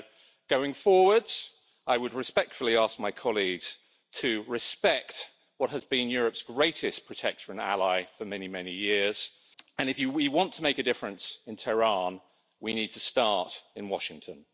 So going forwards, I would respectfully ask my colleagues to respect what has been Europe's greatest protector and ally for many, many years, and if we want to make a difference in Tehran, we need to start in Washington.